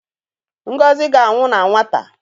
Ngozi ga-anwụ n'nwata.